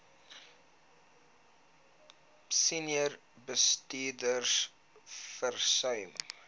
senior bestuurders versuim